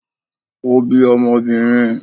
o bí Ọmọbinrín